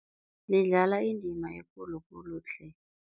Lidlala indima ekulu khulu tle.